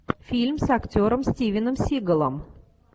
фильм с актером стивеном сигалом